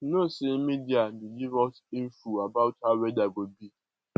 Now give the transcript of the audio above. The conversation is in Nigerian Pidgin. you no know sey media dey give us info about how weather go be